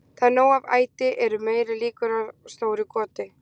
Þegar nóg er af æti eru meiri líkur á stóru goti.